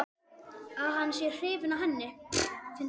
Að hann sé hrifinn af henni.